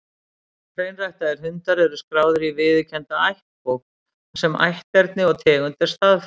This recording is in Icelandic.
Hreinræktaðir hundar eru skráðir í viðurkennda ættbók, þar sem ætterni og tegund er staðfest.